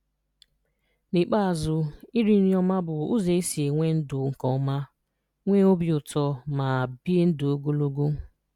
N’ikpeazụ, iri nri ọma bụ ụzọ esi e nwe ndụ nke ọma, nwee obi uto, ma ebie ndu ogologo.